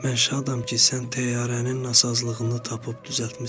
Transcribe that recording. Mən şadam ki, sən təyyarənin nasazlığını tapıb düzəltmisən.